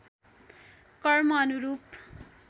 कर्म अनुरूप